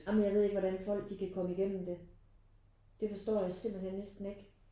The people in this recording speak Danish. Ej men jeg ved ikke hvordan folk de kan komme igennem det. Det forstår jeg simpelthen næsten ikke